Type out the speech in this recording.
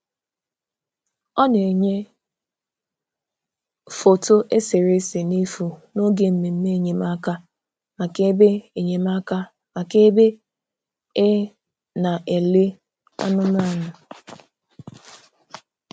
Ọ na-enyè foto eserese n’efu n’oge mmemme enyemáka maka ebe enyemáka maka ebe e na-elè anụ̀manụ̀.